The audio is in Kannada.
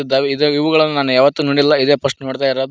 ದ ಇವುಗಳನ್ನು ನಾನ್ ಯಾವತ್ತು ನೋಡಿಲ್ಲ ಇದೇ ಪಸ್ಟ್ ನೋಡ್ತಾಯಿರೋದು.